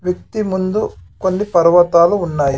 వ్యక్తి ముందు కొన్ని పర్వతాలు ఉన్నాయి .